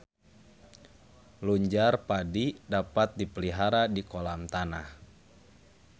Lunjar padi dapat dipelihara di kolam tanah.